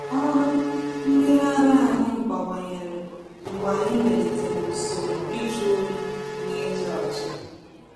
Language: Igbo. Ọrụ mmiri ara anyị bawanyere mgbe anyị melitere usoro ịjụ oyi na ịdị ọcha.